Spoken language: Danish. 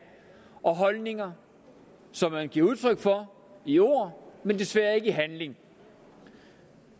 og holdninger som man giver udtryk for i ord men desværre ikke i handling